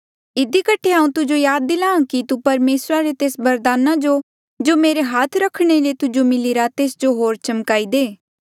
इधी कठे हांऊँ तुजो याद दिलाहां कि तू परमेसरा रे तेस वरदाना जो जो मेरे हाथ रख्णे ले तुजो मिलिरा तेस जो होर चमकाई दे